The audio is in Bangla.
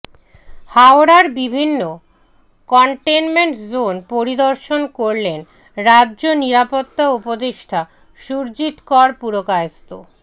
হাওড়ার বিভিন্ন কন্টেনমেন্ট জোন পরিদর্শন করলেন রাজ্য নিরাপত্তা উপদেষ্টা সুরজিৎ কর পুরকায়স্থ